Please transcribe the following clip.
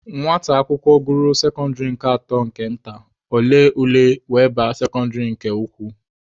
Nwata akwụkwọ gụruo sekọndịrị atọ nke nta, ọ lee ule were baa sekọndịrị nke ukwu.